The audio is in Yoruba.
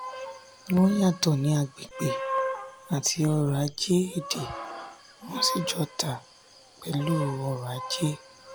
wọn yàtò ní agbègbè àti ọrọ̀-ajé èdè wọn sì jọ tà pelu oro aje.